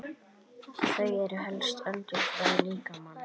Þau eru helstu öndunarfæri líkamans.